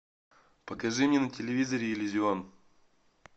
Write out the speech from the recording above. покажи мне на телевизоре иллюзион